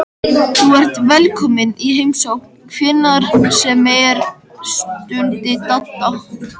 Þú ert velkominn í heimsókn hvenær sem er stundi Dadda.